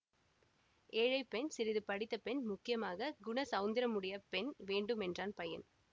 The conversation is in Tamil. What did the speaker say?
ஏழை பெண் சிறிது படித்த பெண் முக்கியமாக குணசௌந்தரியமுடைய பெண் வேண்டும் என்றான் பையன்